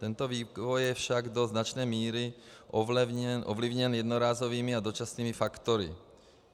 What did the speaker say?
Tento vývoj je však do značné míry ovlivněn jednorázovými a dočasnými faktory.